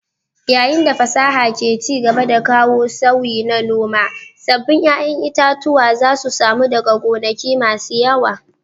Yayin da fasaha ke ci gaba da kawo sauyi na noma, sabbin ƴaƴan itatuwa zasu samu daga gonaki masu yawa